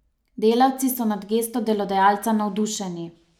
Delavci so nad gesto delodajalca navdušeni.